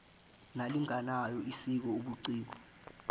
nalinganayo esiko obuciko